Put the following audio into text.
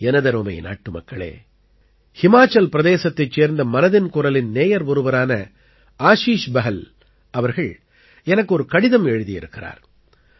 எனதருமை நாட்டுமக்களே ஹிமாச்சல் பிரதேசத்தைச் சேர்ந்த மனதின் குரலின் நேயர் ஒருவரான ஆஷீஷ் பஹல் அவர்கள் எனக்கு ஒரு கடிதம் எழுதியிருக்கிறார்